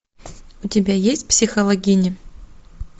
у тебя есть психологини